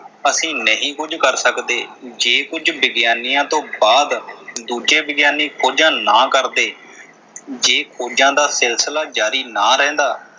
ਅਸੀਂ ਨਹੀਂ ਕੁਝ ਕਰ ਸਕਦੇ। ਜੇ ਕੁਝ ਵਿਗਿਆਨੀਆਂ ਤੋਂ ਬਾਅਦ ਦੂਜੇ ਵਿਗਿਆਨੀ ਖੋਜਾਂ ਨਾ ਕਰਦੇ, ਜੇ ਖੋਜਾਂ ਦਾ ਸਿਲਸਿਲਾ ਜਾਰੀ ਨਾ ਰਹਿੰਦਾ।